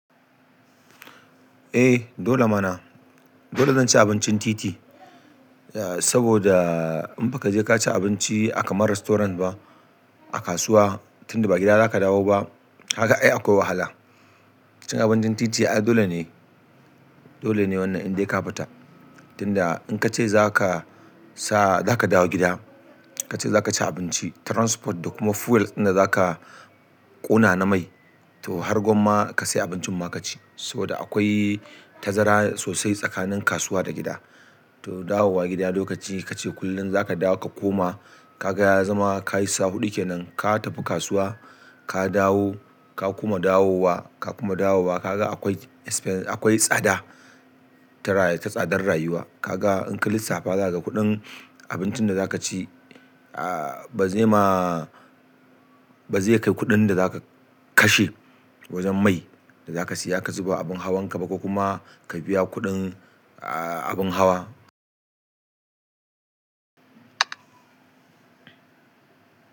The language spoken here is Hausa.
Eh dole mana. Dole zan ci abincin titi, saboda in ba ka je ka ci abinci a kamar restaurant ba a kasuwa tunda ba gida za ka dawo ba, kaga ai akwai wahala. Cin abincin titi ai dole ne, dole ne wannan in dai ka fita. Tunda in ka ce za ka sa za ka dawo gida, ka ce za ka ci abinci transport da kuma fuel da za ka ƙona na mai to har gwamma ka sai abincin ma ka ci. Saboda akwai tazara sosai tsakanin kasuwa da gida. To dawowa gida lokaci ka ce kullum za ka dawo ka koma, ka ga ya zama ka yi sa huɗu ke nan, ka tafi kasuwa, ka dawo, ka kuma dawowa, ka kuma dawowa, ka ga akwai expense, akwai tsada ta, ta tsadar rayuwa. Ka ga in ka lissafa za ka ga kuɗin abincin da za ka ci, ah ba zai ma, ba zai kai kuɗin da za ka kashe wajen mai da za ka siya ka zuba abin hawan ka ba ko kuma ka biya kuɗin ah abin hawa.